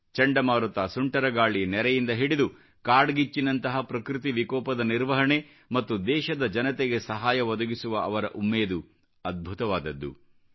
ಚಂಡಮಾರುತ ಸುಂಟರಗಾಳಿ ನೆರೆಯಿಂದ ಹಿಡಿದು ಕಾಡ್ಗಿಚ್ಚಿನಂತಹ ಪ್ರಕೃತಿ ವಿಕೋಪದ ನಿರ್ವಹಣೆ ಮತ್ತು ದೇಶದ ಜನತೆಗೆ ಸಹಾಯ ಒದಗಿಸುವ ಅವರ ಉಮೇದು ಅದ್ಭುತವಾದದ್ದು